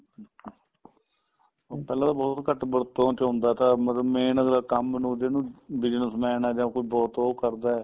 ਪਹਿਲਾਂ ਤਾਂ ਬਹੁਤ ਘੱਟ ਵਰਤੋ ਚ ਆਉਂਦਾ ਥਾ ਮਤਲਬ ਮੈਂ ਅਗਲਾ ਕੰਮ ਨੂੰ ਜਿੰਨੂ business man ਏ ਜਾਂ ਕੋਈ ਬਹੁਤ ਉਹ ਕਰਦਾ